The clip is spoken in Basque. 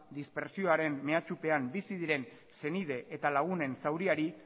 dispertsioaren mehatsupean bizi diren senide eta lagunen zauriari